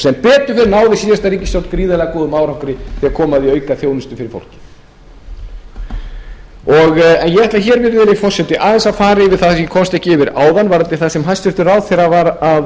sem betur fer náði síðasta ríkisstjórn gríðarlega góðum árangri þegar kom að því að auka þjónustu fyrir fólkið ég ætla virðulegi forseti aðeins að fara yfir það sem ég komst ekki yfir áðan varðandi það sem hæstvirtur ráðherra vændi mig um